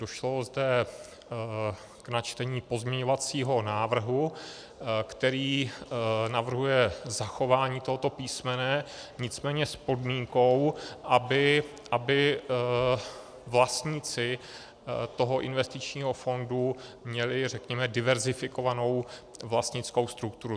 Došlo zde k načtení pozměňovacího návrhu, který navrhuje zachování tohoto písmene, nicméně s podmínkou, aby vlastníci toho investičního fondu měli, řekněme, diverzifikovanou vlastnickou strukturu.